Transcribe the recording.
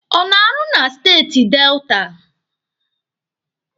Ọ na-arụ na steeti Delta?